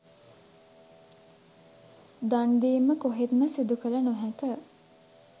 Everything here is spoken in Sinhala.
දන් දීම කොහෙත්ම සිදු කළ නොහැක.